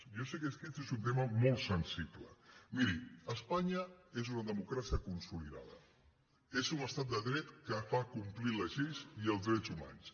jo sé que aquest és un tema molt sensible miri es·panya és una democràcia consolidada és un estat de dret que fa complir les lleis i els drets humans